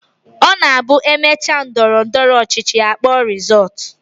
Ọ na-abụ e mechaa ndọrọndọrọ ọchịchị, a kpọọ rịzọọtụ